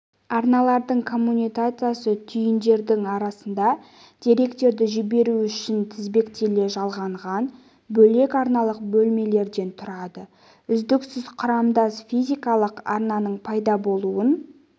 арналардың коммутациясы түйіндердің арасында деректерді жіберу үшін тізбектеле жалғанған бөлек арналық бөлімдерден тұратын үздіксіз құрамдас физикалық арнаның пайда болуын